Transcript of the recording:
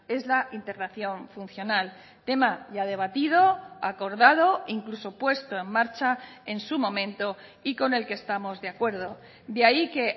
es la integración funcional tema ya debatido acordado e incluso puesto en marcha en su momento y con el que estamos de acuerdo de ahí que